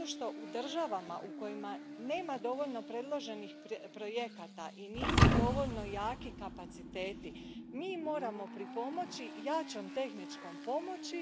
Zato što u državama u kojima nema dovoljno predloženih projekata i nisu dovoljno jaki kapaciteti, mi moramo pripomoći jačom tehničkom pomoći.